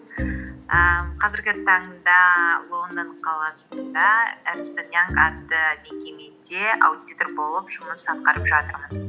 ііі қазіргі таңда лондон қаласында эрнест энд янг атты мекемеде аудитор болып жұмыс атқарып жатырмын